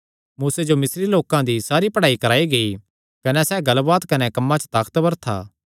मूसे जो मिस्री लोकां दी सारी पढ़ाई कराई गेई कने सैह़ गल्लबात कने कम्मां च ताकतवर था